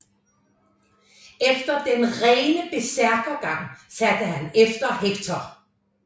Efter den rene bersærkergang satte han efter Hektor